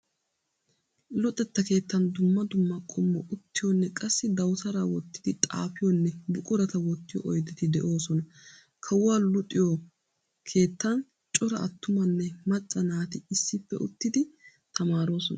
Luxetta keettan dumma dumma qommo uttiyoonne qassi dawutaraa wottidi xaafiyoonne buqurata wottiyoo oydeti de'oosona. Kawuwaa luxiyoo keettan cora attumanne macca naati issippe uttitidi tamaaroosona.